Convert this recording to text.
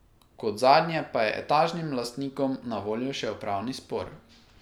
Kot zadnje pa je etažnim lastnikom na voljo še upravni spor.